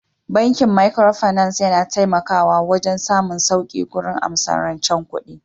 Bankin Microfinance yana taimakawa wajen samun sauƙi gurin amsar rancen ne